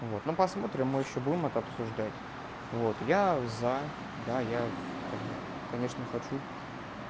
вот ну посмотрим мы ещё будем это обсуждать вот я за да я с как бы конечно хочу